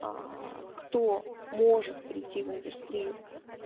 кто может придти в индустрию